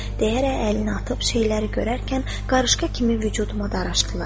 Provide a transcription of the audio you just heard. deyərək əlini atıb, şeyləri görərkən qarışqa kimi vücuduma daraşdılar.